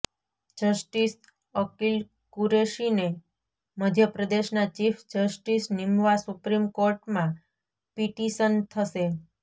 justice Akil કુરેશીને મધ્યપ્રદેશના chief justice નિમવા સુપ્રીમ કોર્ટમાં પિટિશન થશે